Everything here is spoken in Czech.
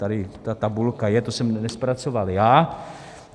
Tady ta tabulka je, to jsem nezpracoval já.